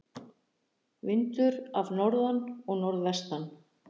Vindur af norðan og norðvestan